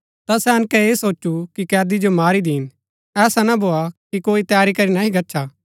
ता सैनके ऐह सोचु कि कैदी जो मारी दिन ऐसा ना भोआ कि कोई तैरी करी नह्ही गच्छा